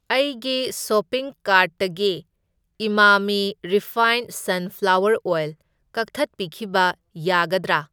ꯑꯩꯒꯤ ꯁꯣꯄꯤꯡ ꯀꯥꯔꯠꯇꯒꯤ ꯏꯃꯥꯃꯤ ꯔꯤꯐꯥꯏꯟꯗ ꯁꯟꯐ꯭ꯂꯥꯋꯔ ꯑꯣꯏꯜ ꯀꯛꯊꯠꯄꯤꯈꯤꯕ ꯌꯥꯒꯗ꯭ꯔꯥ?